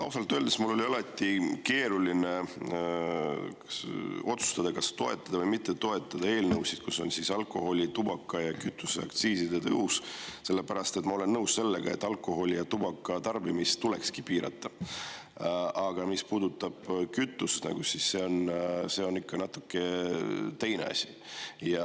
Ausalt öeldes on mul alati keeruline otsustada, kas toetada või mitte toetada eelnõusid, kus on alkoholi‑, tubaka‑ ja kütuseaktsiiside tõus, sellepärast et ma olen nõus sellega, et alkoholi ja tubaka tarbimist tuleks piirata, aga mis puudutab kütust, siis see on ikka natuke teine asi.